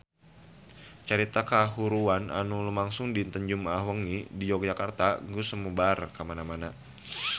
Carita kahuruan anu lumangsung dinten Jumaah wengi di Yogyakarta geus sumebar kamana-mana